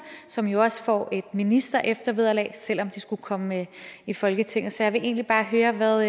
som jo også får et ministereftervederlag selv om de skulle komme i folketinget så jeg vil egentlig bare høre hvad